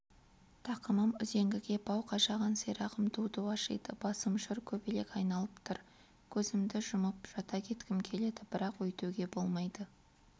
тақымым үзеңгі бау қажаған сирағым ду-ду ашиды басым шыр көбелек айналып тұр көзімді жұмып жата кеткім келеді бірақ өйтуге болмайды